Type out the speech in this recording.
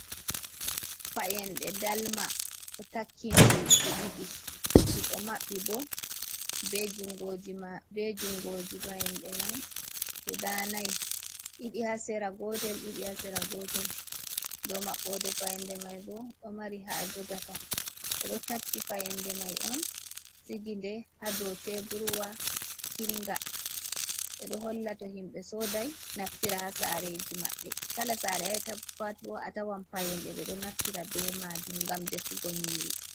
Payenɗe dalma ɗo takki ndiri ɗi ɗiɗi ɗiɗo maɓɓi bo be jungoji payenɗe mai guda nai ɗiɗi ha sera gotel ɗiɗi ha sera gotel bo maɓɓoɗe fayenɗe mai bo ɗo mari ha jogata ɓeɗo tappi fayenɗe mai on sigiɗe ha dou teburwa kidnga ɓeɗo holla to himɓe sodai naftira ha sareji maɓɓe. Kala sare ayi'ata pat bo a tawan payenɗe ɓeɗo naftira be majum ngam defugo nyiiri.